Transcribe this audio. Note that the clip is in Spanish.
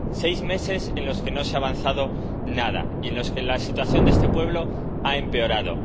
Seis meses en los que no se ha avanzado nada y en los que la situación de este pueblo ha empeorado.